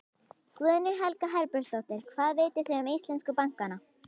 Guðný Helga Herbertsdóttir: Hvað vitið þið um íslensku bankana?